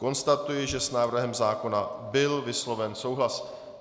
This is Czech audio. Konstatuji, že s návrhem zákona byl vysloven souhlas.